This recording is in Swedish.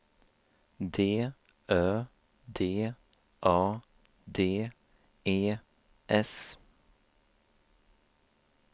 D Ö D A D E S